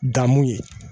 Dan mun ye